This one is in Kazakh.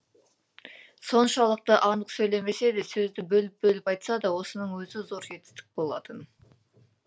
соншалықты анық сөйлемесе де сөзді бөліп бөліп айтса да осының өзі зор жетістік болатын